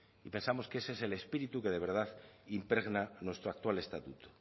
y pensamos que ese es el espíritu que de verdad impregna nuestro actual estatuto